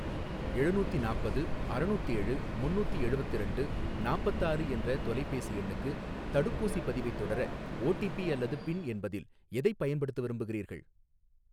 எழுநூத்தி நாப்பது அறநூத்தேழு முன்னூத்தி எழுவத்திரண்டு நாப்பத்தாறு என்ற தொலைபேசி எண்ணுக்கு தடுப்பூசிப் பதிவைத் தொடர ஓடிபி அல்லது பின் என்பதில் எதைப் பயன்படுத்த விரும்புகிறீர்கள்?